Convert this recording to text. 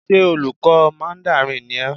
Ṣé olùkọ́ mandarin ni ẹ́?